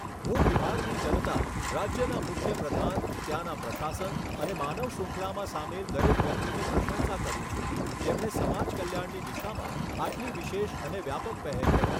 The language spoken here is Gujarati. હું બિહારની જનતા, રાજ્યના મુખ્યપ્રધાન, ત્યાંના પ્રશાસન અને માનવ શ્રૃંખલામાં સામેલ દરેક વ્યક્તિની પ્રશંસા કરું છું જેમણે સમાજ કલ્યાણની દિશામાં આટલી વિશેષ અને વ્યાપક પહેલ કરી.